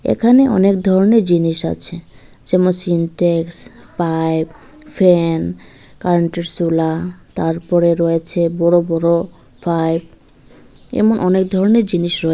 এখানে অনেক ধরনের জিনিস আছে যেমন সিনট্যাক্স পাইপ ফ্যান কারেন্টের স্যুলা তারপরে রয়েছে বড় বড় পাইপ এমন অনেক ধরনের জিনিস রয়ে--